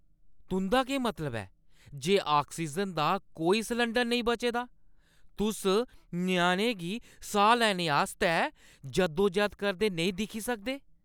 तुंʼदा केह् मतलब ऐ जे ऑक्सीजन दा कोई सलैंडर नेईं बचे दा ? तुस ञ्याणे गी साह् लैने आस्तै जद्दोजहद करदे नेईं दिक्खी सकदे ?